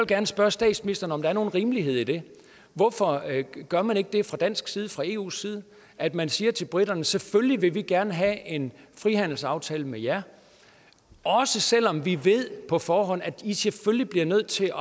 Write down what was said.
gerne spørge statsministeren om der er nogen rimelighed i det hvorfor gør man ikke det fra dansk side fra eus side at man siger til briterne selvfølgelig vil vi gerne have en frihandelsaftale med jer også selv om vi på forhånd ved at i selvfølgelig bliver nødt til